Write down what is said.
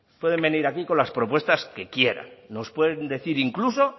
pueden venir aquí con las propuestas que quieran nos pueden decir incluso